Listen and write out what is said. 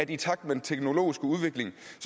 i takt med den teknologiske udvikling